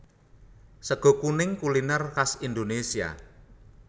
Sega kuning kuliner khas Indonesia